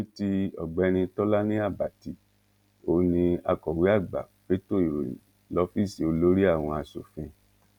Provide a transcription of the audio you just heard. ní ti ọ̀gbẹ́ni tọ́lání àbàtì òun ní akọ̀wé àgbà fẹtọ ìròyìn lọ́fíìsì olórí àwọn asòfin